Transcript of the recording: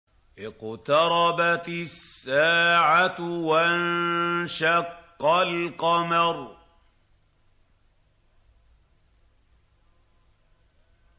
اقْتَرَبَتِ السَّاعَةُ وَانشَقَّ الْقَمَرُ